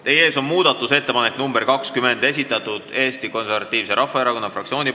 Teie ees on muudatusettepanek nr 20, mille on esitanud Eesti Konservatiivse Rahvaerakonna fraktsioon.